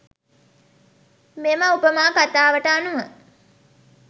මෙම උපමා කථාවට අනුව